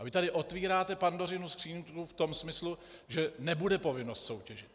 A vy tady otvíráte Pandořinu skříňku v tom smyslu, že nebude povinnost soutěžit.